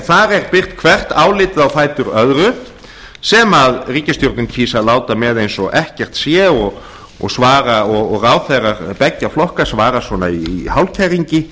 þar er birt hvert álitið á fætur öðru sem ríkisstjórnin kýs að láta með eins og ekkert sé og ráðherrar beggja flokka svara svona í hálfkæringi